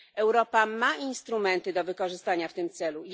Europa ma instrumenty do wykorzystania w tym celu.